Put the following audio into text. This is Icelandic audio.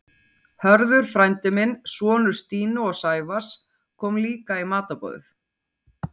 Hörður frændi minn, sonur Stínu og Sævars, kom líka í matarboðið.